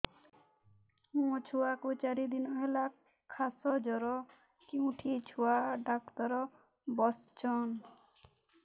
ମୋ ଛୁଆ କୁ ଚାରି ଦିନ ହେଲା ଖାସ ଜର କେଉଁଠି ଛୁଆ ଡାକ୍ତର ଵସ୍ଛନ୍